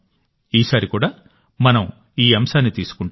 ఈసారి కూడా మనం ఈ అంశాన్ని తీసుకుంటాం